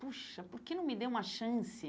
Puxa, por que não me dei uma chance?